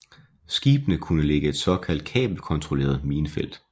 Skibene kunne lægge et såkaldt kabelkontrolleret minefelt